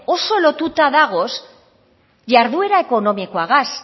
oso lotuta dagoz jarduera ekonomikoagaz